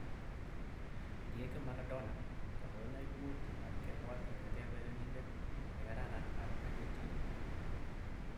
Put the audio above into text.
Diego Maradona: Kalewenaik mut ab kebwat kongete urerenindet ne kararan ab Argentina.